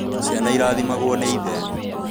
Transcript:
Ciana irathimagwo nĩ ithe